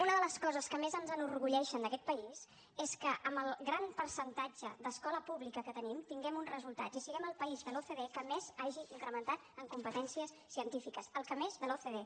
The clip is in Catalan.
una de les coses que més ens enorgulleixen d’aquest país és que amb el gran percentatge d’escola pública que tenim tinguem uns resultats i siguem el país de l’ocde que més hagi incrementat en competències científiques el que més de l’ocde